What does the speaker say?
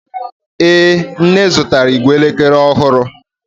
Ee, nne zụtara ìgwè elekere ọhụrụ